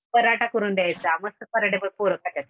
पराठा करून द्यायचा मस्त पराठे पोरं खात्यात.